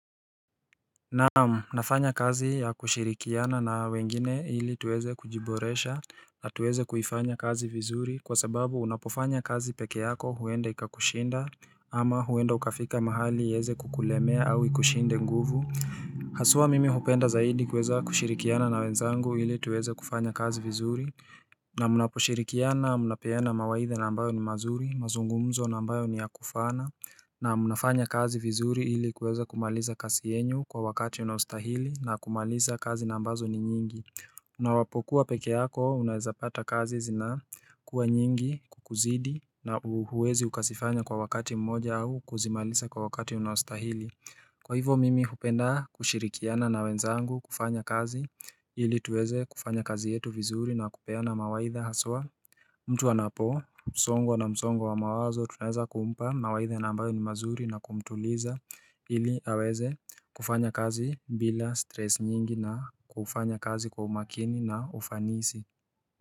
Naam, nafanya kazi ya kushirikiana na wengine ili tuweze kujiboresha. Na tuweze kuifanya kazi vizuri kwa sababu unapofanya kazi pekee yako huende ikakushinda ama huenda ukafika mahali iweze kukulemea au ikushinde nguvu Haswa mimi hupenda zaidi kuweza kushirikiana na wenzangu ili tuweze kufanya kazi vizuri na mnaposhirikiana mnapeana mawaidh na ambayo ni mazuri, mazungumzo na ambayo ni ya kufana na mnafanya kazi vizuri ili kuweza kumaliza kazi yenyu kwa wakati unaostahili na kumaliza kazi na ambazo ni nyingi na unapokuwa pekee yako unawezapata kazi zina kuwa nyingi kukuzidi na hauwezi ukazifanya kwa wakati mmoja au kuzimaliza kwa wakati unaostahili. Kwa hivo mimi hupenda kushirikiana na wenzangu kufanya kazi ili tuweze kufanya kazi yetu vizuri na kupeana mawaidha haswa mtu anapo, songwa na msongo wa mawazo tunaweza kumpa na waidha na ambayo ni mazuri na kumtuliza ili aweze kufanya kazi bila stress nyingi na kufanya kazi kwa umakini na ufanisi.